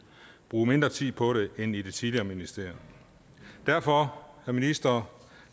bruge mindre tid på det end i det tidligere ministerium derfor minister